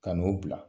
Ka n'o bila